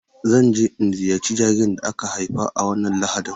Zan je in ziyarci jaririn da aka haifa a wannan Lahadin.